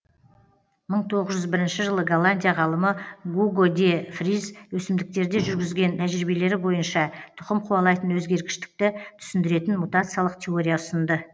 мың тоғыз жүз бірінші жылы голландия ғалымы гуго де фриз өсімдіктерде жүргізген тәжірибелері бойынша тұқым қуалайтын өзгергіштікті түсіндіретін мутациялық теория ұсынды